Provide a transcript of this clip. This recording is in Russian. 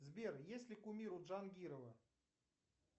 сбер есть ли кумир у джангирова